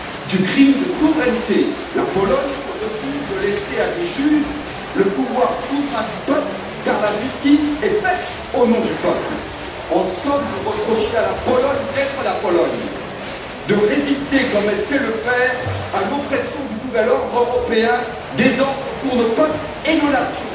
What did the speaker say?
Du crime de souveraineté la Pologne se refuse de laisser à des juges le pouvoir souverain du peuple, car la justice est faite au nom du peuple. En somme, vous reprochez à la Pologne d'être la Pologne, de résister comme elle sait le faire à l'oppression du nouvel ordre européen, désordre pour nos peuples et nos nations.